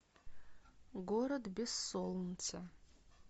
город без солнца